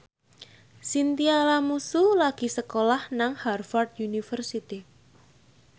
Chintya Lamusu lagi sekolah nang Harvard university